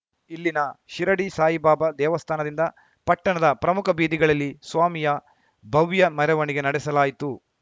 ಇಲ್ಲಿನ ಶಿರಡಿ ಸಾಯಿ ಬಾಬಾ ದೇವಸ್ಥಾನದಿಂದ ಪಟ್ಟಣದ ಪ್ರಮುಖ ಬೀದಿಗಳಲ್ಲಿ ಸ್ವಾಮಿಯ ಭವ್ಯ ಮೆರವಣಿಗೆ ನಡೆಸಲಾಯಿತು